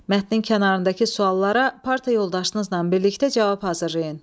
Mətnin kənarındakı suallara parta yoldaşlarınızla birlikdə cavab hazırlayın.